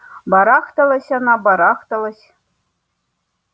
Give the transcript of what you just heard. барахталась она барахталась